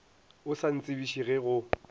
o sa ntsebiše ge go